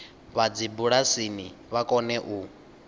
vha dzibulasini vha kone u